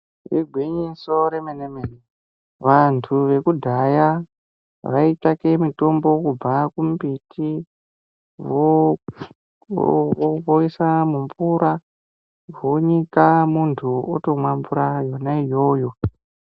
Igwinyiso remenemene, vanthu vekudhaya vaitsvake mithombo kubva kumbiti woo wo woisa mumvura vonyika munthu otomwa mvura yona iyoyo.